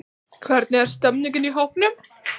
Hvernig er stemmningin í hópnum?